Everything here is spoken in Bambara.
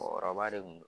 Mɔgɔkɔrɔba de kun don